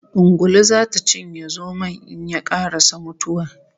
Ungulu zata cinye zomon in ye karasa mutuwa